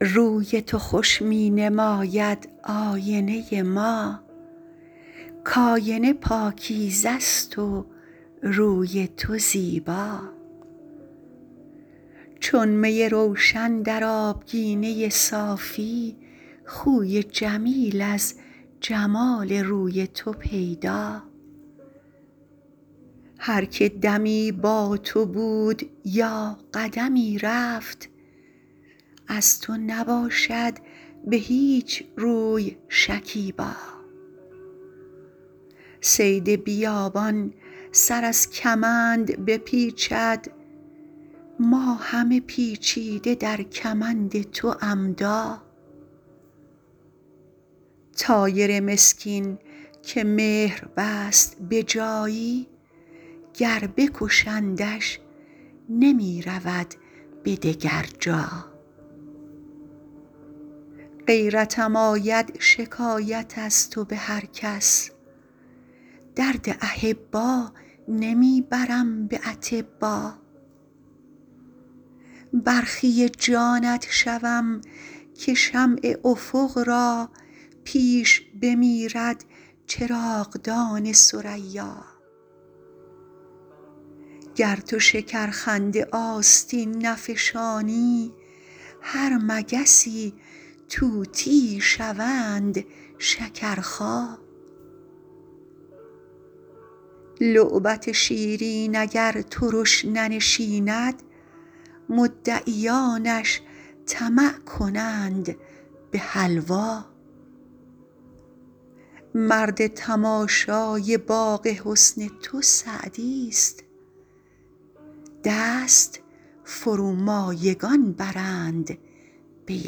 روی تو خوش می نماید آینه ما کآینه پاکیزه است و روی تو زیبا چون می روشن در آبگینه صافی خوی جمیل از جمال روی تو پیدا هر که دمی با تو بود یا قدمی رفت از تو نباشد به هیچ روی شکیبا صید بیابان سر از کمند بپیچد ما همه پیچیده در کمند تو عمدا طایر مسکین که مهر بست به جایی گر بکشندش نمی رود به دگر جا غیرتم آید شکایت از تو به هر کس درد احبا نمی برم به اطبا برخی جانت شوم که شمع افق را پیش بمیرد چراغدان ثریا گر تو شکرخنده آستین نفشانی هر مگسی طوطیی شوند شکرخا لعبت شیرین اگر ترش ننشیند مدعیانش طمع کنند به حلوا مرد تماشای باغ حسن تو سعدیست دست فرومایگان برند به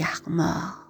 یغما